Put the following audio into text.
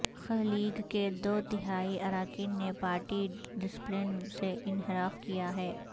ق لیگ کے دو تہائی اراکین نے پارٹی ڈسپلن سے انحراف کیا ہے